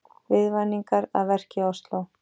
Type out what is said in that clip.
Viðvaningar að verki í Ósló